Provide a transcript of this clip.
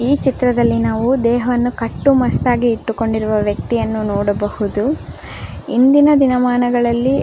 ಈ ಚಿತ್ರದಲ್ಲಿ ನಾವು ದೇಹವನ್ನು ಕಟ್ಟ್ಟು ಮಸ್ತಾಗಿ ಇಟ್ಟುಕೊಂಡಿರವ ವ್ಯಕ್ತಿಯನ್ನು ನೋಡಬಹದು ಇಂದಿನ ದಿನ ಮನಗಳಲ್ಲಿ --